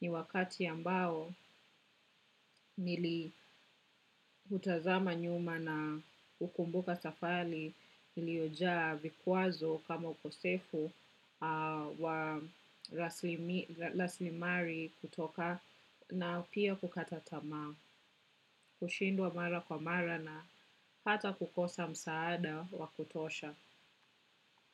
Ni wakati ambao nili hutazama nyuma na hukumbuka safari iliyojaa vikwazo kama ukosefu wa raslimali kutoka na pia kukata tamaa. Kushindwa mara kwa mara na hata kukosa msaada wa kutosha.